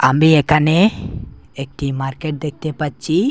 আমি একানে একটি মার্কেট দেখতে পাচ্চি ।